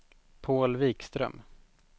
Paul Wikström